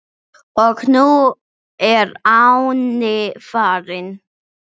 Og nú er Árni farinn.